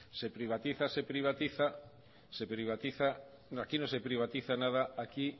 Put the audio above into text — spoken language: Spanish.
que privatiza se privatiza se privatiza aquí no se privatiza nada aquí